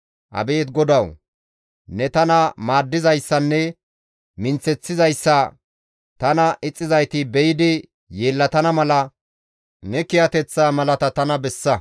Abeet GODAWU! ne tana maaddizayssanne minththeththizayssa tana ixxizayti be7idi yeellatana mala ne kiyateththa malata tana bessa.